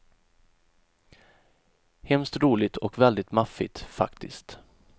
Hemskt roligt och väldigt maffigt, faktiskt.